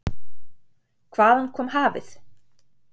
Hvaðan kom hafið?